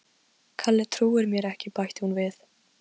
Kalli trúir mér ekki bætti hún við.